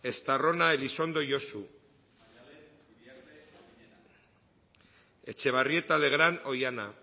estarrona elizondo josu etxebarrieta legrand oihana